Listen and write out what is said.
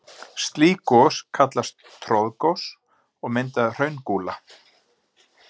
Slík gos kallast troðgos og mynda hraungúla.